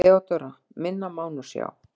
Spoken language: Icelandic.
THEODÓRA: Minna má nú sjá.